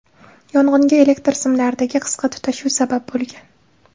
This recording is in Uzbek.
Yong‘inga elektr simlaridagi qisqa tutashuv sabab bo‘lgan.